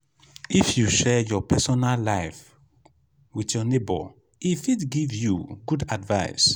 if you share your personal life wit your nebor e fit give you good advice.